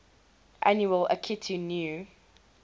annual akitu new